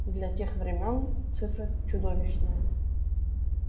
для тех времён цифра чудовищная